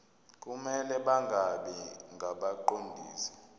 kumele bangabi ngabaqondisi